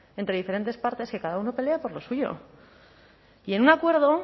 entre diferentes partes que cada uno pelea por lo suyo y en un acuerdo